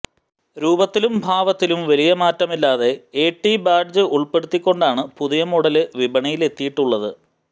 രൂപത്തിലും ഭാവത്തിലും വലിയ മാറ്റമില്ലാതെ എടി ബാഡ്ജ് ഉള്പ്പെടുത്തിക്കൊണ്ടാണ് പുതിയ മോഡല് വിപണിയിലെത്തിയിട്ടുള്ളത്